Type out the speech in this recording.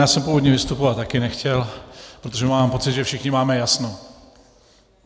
Já jsem původně vystupovat taky nechtěl, protože mám pocit, že všichni máme jasno.